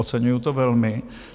Oceňuji to velmi.